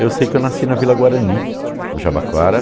Eu sei que eu nasci na Vila Guarani, no Jabaquara.